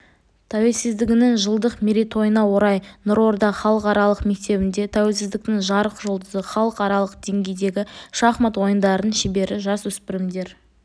тәуелсіздігінің жылдық мерейтойына орай нұрорда халықаралық мектебінде тәуелсіздіктің жарық жұлдызы халықаралық деңгейдегі шахмат ойынының шебері жасөспірімдер